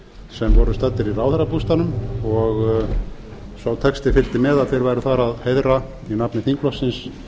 sem voru staddir í ráðherrabústaðnum og sá texti fylgdi með að þeir væru þar að heiðra í nafni þingflokksins